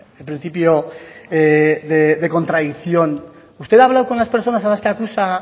el principio de contradicción usted ha hablado con las personas a las que acusa